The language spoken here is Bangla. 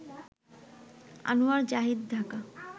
আনোয়ার জাহিদ, ঢাকা